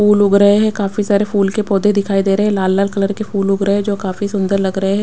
फूल उग रहे हैं काफी सारे फूल के पौधे दिखाई दे रहे हैं लाल लाल कलर के फूल उग रहे हैं जो काफी सुंदर लग रहे हैं।